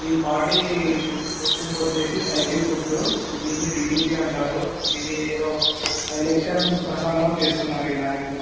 ఈ పార్టీ గుర్తింపు వచ్చేసి సైకిల్ గుర్తు. దీన్ని టి_డి_పి అంటారు ఇది ఎదో ఎలక్షన్ ప్రసంగం చేస్తున్నారు. ఈ ర్యాలీ ద్వారా --